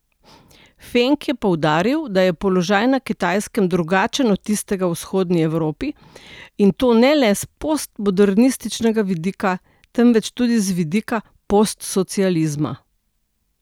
Feng je poudaril, da je položaj na Kitajskem drugačen od tistega v vzhodni Evropi, in to ne le s postmodernističnega vidika, temveč tudi z vidika postsocializma.